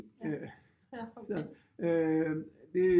Så det